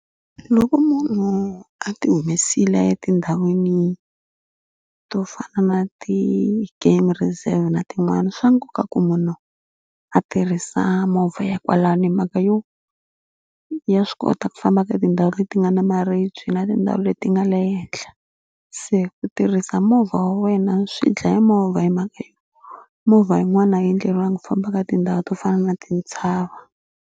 Loko munhu a ti humesile a ya tindhawini to fana na ti-game reserve na tin'wani swa nkoka ku munhu a tirhisa movha ya kwalano hi mhaka yo ya swi kota ku famba ka tindhawu leti nga na maribye na tindhawu leti nga le henhla. Se ku tirhisa movha wa wena swi dlaya movha hi mhaka yo movha yin'wana leyi endleriwangi ku famba ka tindhawu to fana na tintshava.